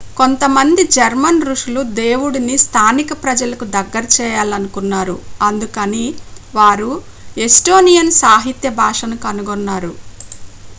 కొంతమంది జర్మన్ ఋషులు దేవుడిని స్థానిక ప్రజలకు దగ్గర చేయాలనుకున్నారు అందుకని వారు ఎస్టోనియన్ సాహిత్య భాషను కనుగొన్నారు